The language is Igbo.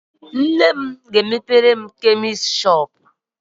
Nne ga-emepere m chemist